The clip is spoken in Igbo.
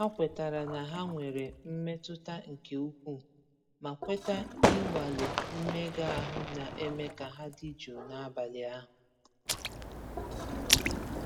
Ha kwetara na ha nwere mmetụta nke ukwuu, ma kweta ịnwale mmega ahụ na-eme ka ha dị jụụ n'abalị ahụ.